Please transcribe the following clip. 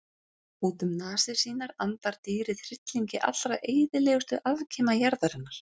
Út um nasir sínar andar dýrið hryllingi allra eyðilegustu afkima jarðarinnar.